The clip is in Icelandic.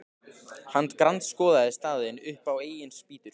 Hann grandskoðaði staðinn upp á eigin spýtur.